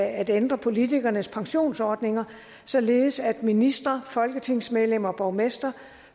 at ændre politikernes pensionsordninger således at ministre folketingsmedlemmer og borgmestre